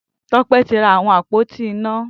Tope ti rá awọn ápótí iná